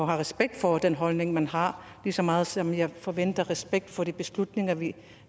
har respekt for den holdning man har lige så meget som jeg forventer respekt for de beslutninger vi